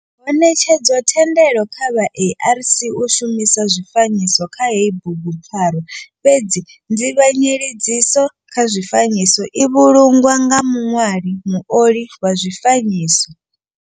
Ho netshedzwa thendelo kha vha ARC u shumisa zwifanyiso kha heyi bugupfarwa fhedzi nzivhanyedziso kha zwifanyiso i vhulungwa nga muṋwali, muoli wa zwifanyiso.